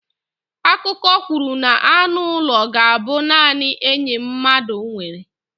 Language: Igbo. Akụkọ kwuru na anụ ụlọ ga-abụ naanị enyi mmadụ nwere.